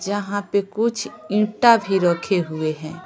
जहां पे कुछ ईंटा भी रखे हुए हैं .